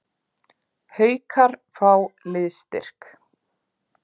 Haukar fá liðsstyrk